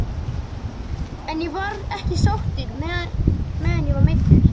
En ég var ekki sáttur meðan ég var meiddur.